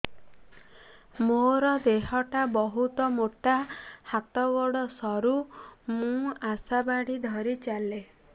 ମୋର ଦେହ ଟା ବହୁତ ମୋଟା ହାତ ଗୋଡ଼ ସରୁ ମୁ ଆଶା ବାଡ଼ି ଧରି ଚାଲେ